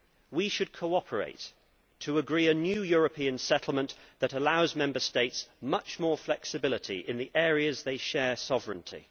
We should cooperate to agree a new European settlement that allows Member States much more flexibility in the areas in which they share sovereignty.